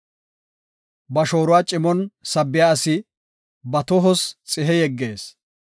Ba shooruwa cimon sabbiya asi, ba tohos xihe yeggees.